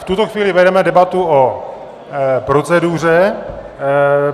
V tuto chvíli vedeme debatu o proceduře.